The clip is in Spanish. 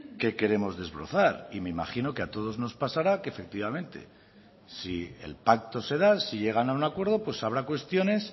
que queremos desbrozar y me imagino que a todos nos pasará que efectivamente si el pacto se da si llegan a un acuerdo pues habrá cuestiones